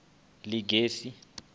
ḽigegise